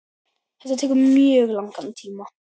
Þetta tekur mjög langan tíma.